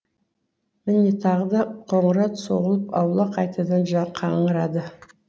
міне тағы да қоңырау соғылып аула қайтадан қаңырады